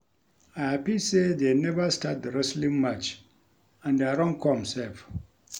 I happy sey dey never start the wrestling match and I run come sef